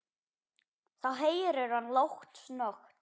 Þá heyrir hann lágt snökt.